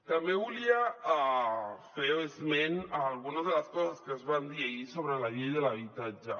també volia fer esment d’algunes de les coses que es van dir ahir sobre la llei de l’habitatge